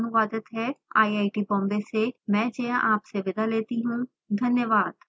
यह स्क्रिप्ट विकास द्वारा अनुवादित है आईआईटी बॉम्बे से मैं जया आपसे विदा लेती हूँ धन्यवाद